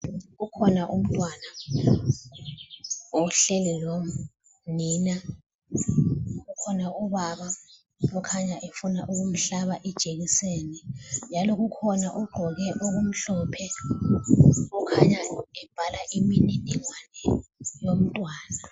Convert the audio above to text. Ukhona umntwana ohleli lonina. Ukhona ubaba okhanya efuna ukumhlaba ijekiseni. Njalo ukhona ogqoke okumhlophe okhanya ebhala imininingwana yomntwana.